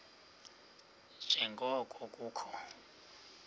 nje ngoko kukho